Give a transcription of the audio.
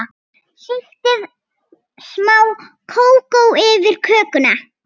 Sigtið smá kakó yfir kökuna.